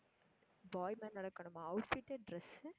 boy மாதிரி நடக்கணுமா outfit உ dress உ